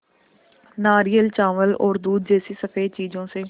नारियल चावल और दूध जैसी स़फेद चीज़ों से